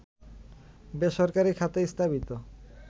বেসরকারি খাতে স্থাপিত